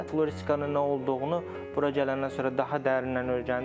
Floristikanın nə olduğunu bura gələndən sonra daha dərinən öyrəndim.